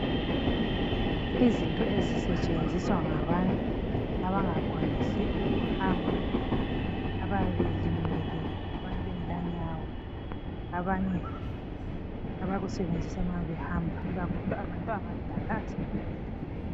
Izinto ezisetshenziswa ngabantu abangakwanisi ukuhamba abayabe belimele bengela nyawo abanye abakusebenzisa nxa behamba ikakhulu abantu abadala asebekhulile.